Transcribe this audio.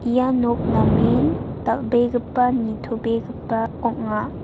ia nok namen dal·begipa nitobegipa ong·a.